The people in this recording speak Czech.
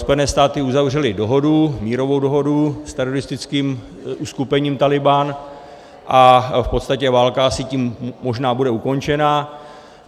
Spojené státy uzavřely mírovou dohodu s teroristickým uskupením Tálibán a v podstatě válka asi tím možná bude ukončena.